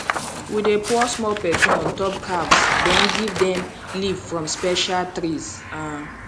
we dey pour small perfume on top calves then give them leave from special trees um